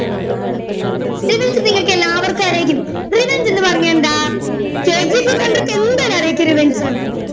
revenge നിങ്ങൾക്ക് എല്ലാവർക്കും അറിയാരിക്കും revenge എന്ന് പറഞ്ഞാ എന്താ KGF കണ്ടോർക്കും എന്താലും അറിയാ എന്താ revenge ന്ന്